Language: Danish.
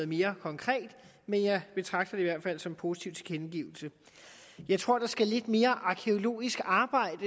mere konkret men jeg betragter det i hvert fald som positive tilkendegivelser jeg tror der skal lidt mere arkæologisk arbejde